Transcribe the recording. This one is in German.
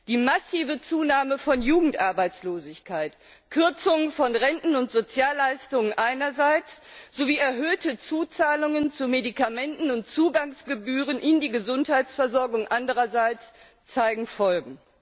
Die massive Zunahme von Jugendarbeitslosigkeit, Kürzung von Renten und Sozialleistungen einerseits sowie erhöhte Zuzahlungen zu Medikamenten und Zugangsgebühren für die Gesundheitsversorgung andererseits zeigen Folgen.